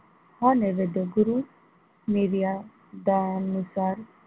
हा नैवध्य गुरु निर्यादानुसार,